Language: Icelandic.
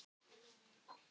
Þeir eru að lesa sér til.